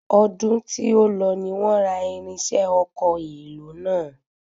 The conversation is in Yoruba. Ọdún tí ó lọ ni wọ́n ra irinṣẹ́ ọkọ̀ èlò náà.